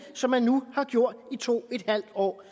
som man nu har gjort i to en halv år